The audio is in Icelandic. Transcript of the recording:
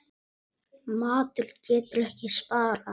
Matur getur ekki sparað.